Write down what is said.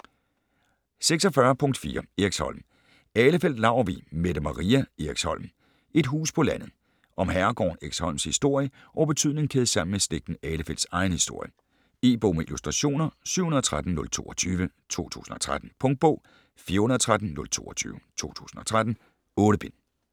46.4 Eriksholm Ahlefeldt-Laurvig, Mette Maria: Eriksholm: et hus på landet Om herregården Eriksholms historie og betydning kædet sammen med slægten Ahlefeldts egen historie. E-bog med illustrationer 713022 2013. Punktbog 413022 2013. 8 bind.